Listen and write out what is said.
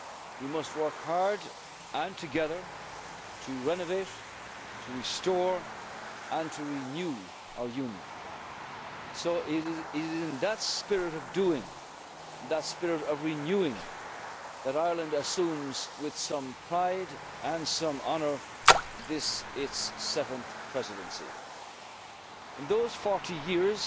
We must work hard and together to renovate, to restore and to renew our Union. So it is in that spirit of doing that spirit of renewing that Ireland assumes with some pride and some honour this, its seventh Presidency. In those 40